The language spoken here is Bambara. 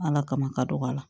Ala kama ka dɔgɔ a la